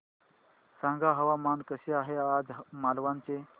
सांगा हवामान कसे आहे आज मालवण चे